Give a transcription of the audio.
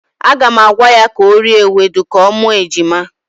Aga m agwa ya ka o rie ewedu ka ọ mụọ ejima.